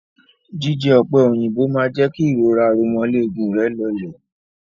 Jíjẹ ọ̀pẹ òyìnbó máa jẹ́ kí ìrora aromọléegun rẹ̀ lọlẹ̀.